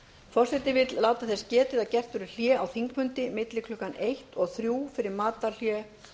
forseti vill láta þess getið að gert verður hlé á þingfundi milli klukkan eitt og þrír fyrir matarhlé